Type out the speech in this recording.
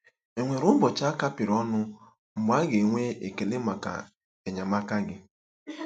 Enwere ụbọchị a kapịrị ọnụ mgbe a ga-enwe ekele maka enyemaka gị?